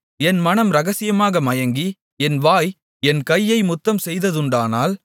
என் மனம் இரகசியமாக மயங்கி என் வாய் என் கையை முத்தம் செய்ததுண்டானால்